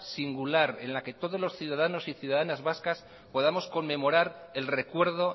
singular en la que todos los ciudadanos y ciudadanas vascas podamos conmemorar el recuerdo